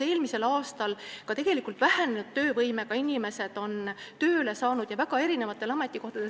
Eelmisel aastal on ka vähenenud töövõimega inimesed tööle saanud ja väga erinevatele ametikohtadele.